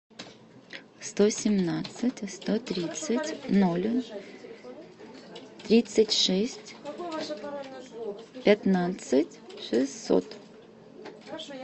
сто семнадцать сто тридцать ноль тридцать шесть пятнадцать шестьсот